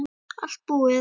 Allt búið